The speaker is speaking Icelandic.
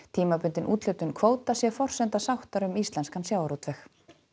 tímabundin úthlutun kvóta sé forsenda sáttar um íslenskan sjávarútveg